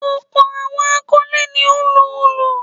Ọ̀pọ̀ àwọn akọ́lé ní wọ́n ń lo òlù.